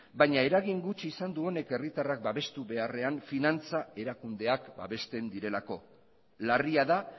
baina eragin gutxi izan du honek herritarrak babestu beharrean finantza erakundeak babesten direlako larria da